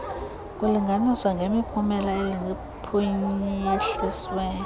kulinganiswa ngemiphumela ephuhliswe